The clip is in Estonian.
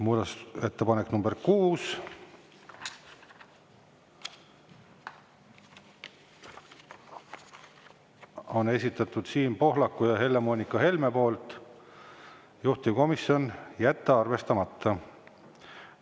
Muudatusettepaneku nr 6 on esitanud Siim Pohlak ja Helle-Moonika Helme, juhtivkomisjon: jätta arvestamata.